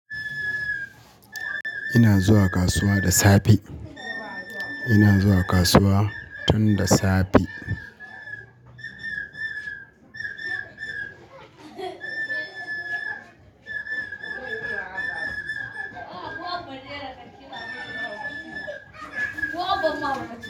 Ina zuwa kasuwa da safe. Ina zuwa kasuwa tun da safe.